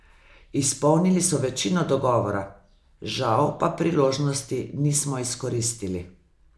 Izpolnili so večino dogovora, žal pa priložnosti nismo izkoristili.